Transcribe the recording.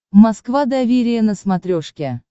москва доверие на смотрешке